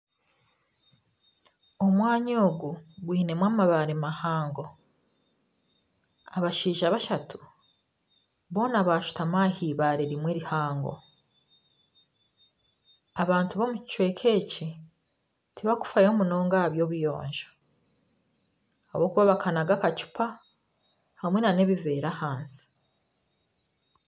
Omwanya ogu gwinemu amabaare mahango abashaija bashatu boona bashutami ah'eibaare rimwe rihango, abantu b'omu kicweka eki tibakufayo munonga aha by'obuyonjo ahabw’okuba bakanaga akacupa hamwe na n'ebiveera ahansi.